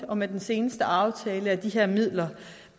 og med den seneste aftale er de her midler